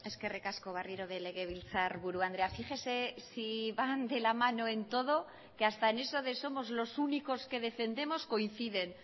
eskerrik asko berriro ere legebiltzarburu andrea fíjese si van de la mano en todo que hasta en eso de somos los únicos que defendemos coinciden